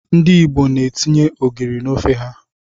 Ndị Igbo etinye ogiri n'ofe ha.